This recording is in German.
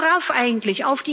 Worauf eigentlich?